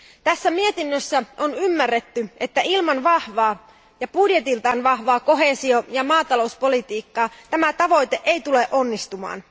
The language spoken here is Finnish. Tässä mietinnössä on ymmärretty, että ilman vahvaa ja budjetiltaan vahvaa koheesio ja maatalouspolitiikkaa tämä tavoite ei tule onnistumaan.